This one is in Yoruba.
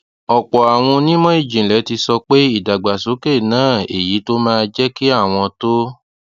ọpọ àwọn onímọ ìjìnlẹ ti sọ pé ìdàgbàsókè náà èyí tó máa jẹ kí àwọn tó